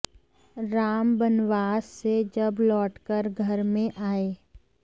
राम बनवास से जब लौटकर घर में आये